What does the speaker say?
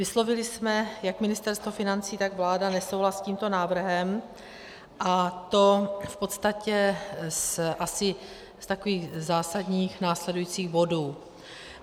Vyslovili jsme, jak Ministerstvo financí, tak vláda, nesouhlas s tímto návrhem, a to v podstatě asi z takových zásadních následujících bodů.